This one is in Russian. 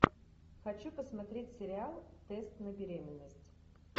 хочу посмотреть сериал тест на беременность